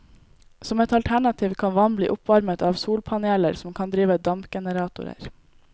Som et alternativ kan vann bli oppvarmet av solpaneler som kan drive dampgeneratorer.